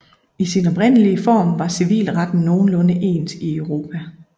I sin oprindelige form var civilretten nogenlunde ens i Europa